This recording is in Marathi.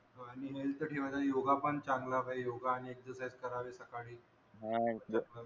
हो आणि हेल्थ ठेवायला योगा पण चांगला पाहिजे योगा आणि एक्सरसाईस करावेत सकाळी हा